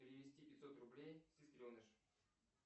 перевести пятьсот рублей сестреныш